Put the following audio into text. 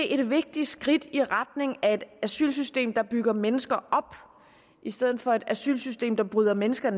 et vigtigt skridt i retning af et asylsystem der bygger mennesker op i stedet for et asylsystem der bryder mennesker